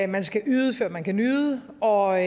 man skal yde før man kan nyde og